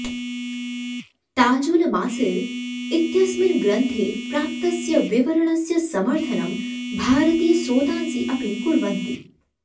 ताजुल मासिर् इत्यस्मिन् ग्रन्थे प्राप्तस्य विवरणस्य समर्थनं भारतीयस्रोतांसि अपि कुर्वन्ति